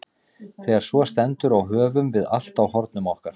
Þegar svo stendur á höfum við allt á hornum okkar.